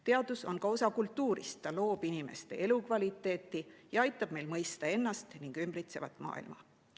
Teadus on ka osa kultuurist, ta loob inimeste elukvaliteeti ja aitab meil mõista ennast ning ümbritsevat maailma.